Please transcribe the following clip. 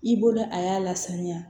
I bolo a y'a lasaniya